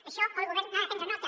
d’això el govern n’ha de prendre nota